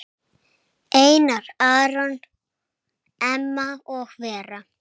Einar Aron, Emma og Vera.